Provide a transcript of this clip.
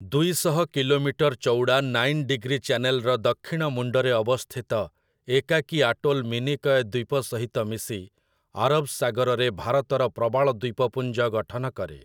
ଦୁଇଶହ କିଲୋମିଟର୍ ଚଉଡ଼ା nine degree ଚ୍ୟାନେଲ୍‌ର ଦକ୍ଷିଣ ମୁଣ୍ଡରେ ଅବସ୍ଥିତ ଏକାକୀ ଆଟୋଲ୍ ମିନିକୟ ଦ୍ଵୀପ ସହିତ ମିଶି ଆରବ ସାଗରରେ ଭାରତର ପ୍ରବାଳ ଦ୍ଵୀପପୁଞ୍ଜ ଗଠନ କରେ ।